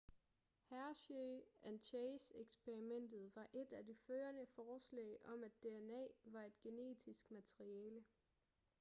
hershey and chase eksperimentet var et af de førende forslag om at dna var et genetisk materiale